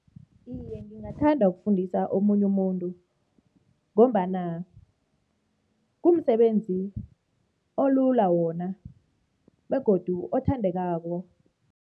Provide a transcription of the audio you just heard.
Iye, ngingathanda ukufundisa omunye umuntu ngombana kumsebenzi olula wona begodu othandekako.